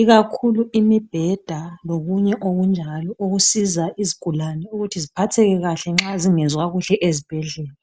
ikakhulu imbeda lokunye okunjalo okusiza izigulane ukuba ziphatheke kahle nxa zingezwa kuhle ezibhedlela